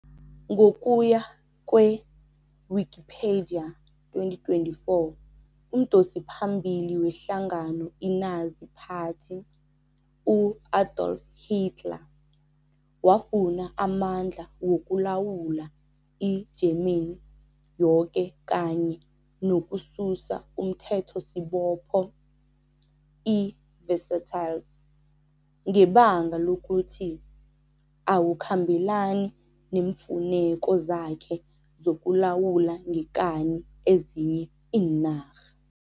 Ngokuya kwe-Wikipedia 2024, umdosiphambili wehlangano i-Nazi Party, u-Adolf Hitler, wafuna amandla wokulawula i-Germany yoke kanye nokususa umthethosibopho, iVersailles, ngebanga lokuthi awukhambelani neemfuneko zakhe zokulawula ngekani ezinye iinarha, Wikipedia 2024.